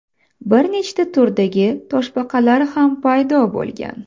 Bir necha turdagi toshbaqalar ham paydo bo‘lgan.